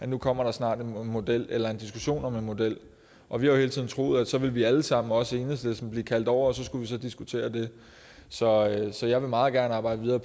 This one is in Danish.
nu kommer der snart en model eller en diskussion om en model og vi har jo hele tiden troet at så ville vi alle sammen også enhedslisten blive kaldt over for at skulle diskutere det så så jeg vil meget gerne arbejde videre